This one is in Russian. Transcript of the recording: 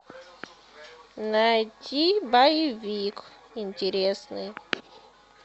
найти боевик интересный